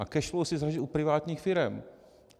A cash flow si založí u privátních firem.